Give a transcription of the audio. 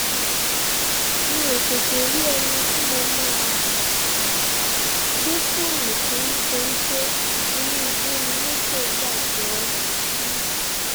mi ò tètè rí ẹni tí mo máa um gbé fóònù fún nítorí pé inú igbó ni mọ́tò bàjẹ́ um sí